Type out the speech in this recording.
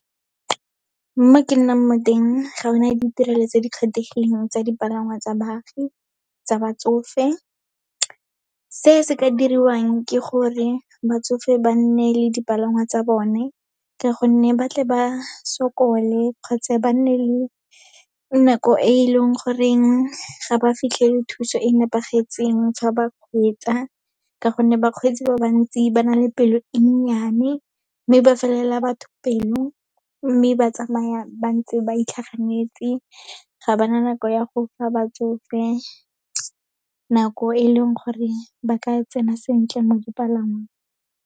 Mo ke nnang mo teng, ga o na le ditirelo tse di kgethegileng tsa dipalangwa tsa baagi, tsa batsofe. Se se ka diriwang ke gore batsofe ba nne le dipalangwa tsa bone, ka gonne ba tle ba sokole kgotsa ba nne le nako e e leng goreng ga ba fitlhele thuso e nepagetseng fa ba kgweetsa, ka gonne bakgweetsi ba bantsi ba na le pelo e nnyane. Mme ba felela batho pelo, mme ba tsamaya ba ntse ba itlhaganetse ga ba na nako ya go fa batsofe nako, e leng gore ba ka tsena sentle mo dipalangweng.